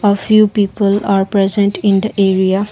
a few people are present in the area.